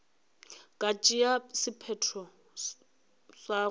ka tšea sephetho sa go